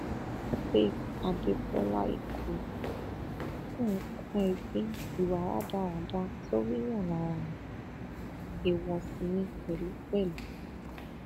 faith adébọlá nǹkan ẹgbin ìwà rádaràda tó ríyàn lára ni èèwọ sì ni pẹlú pẹlú